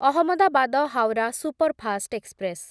Ahmedabad Howrah superfast express